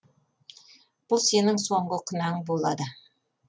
бұл сенің соңғы күнәң болады